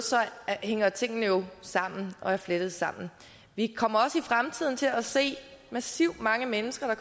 hænger tingene jo sammen og er flettet sammen vi kommer også i fremtiden til at se massivt mange mennesker der